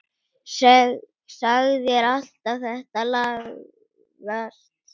Sagðir alltaf þetta lagast.